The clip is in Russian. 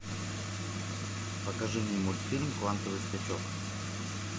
покажи мне мультфильм квантовый скачок